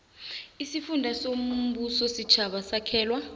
isifunda sombusositjhaba sakhelwa